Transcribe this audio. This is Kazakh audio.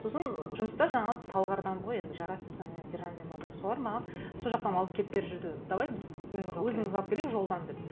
сосын жұмыста жаңағы талғардан ғой енді жарас және сержан деген балалар солар маған сол жақтан алып келіп беріп жүрді давай біз өзіміз алып келейік жолдан деп